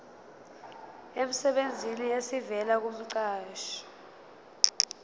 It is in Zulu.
emsebenzini esivela kumqashi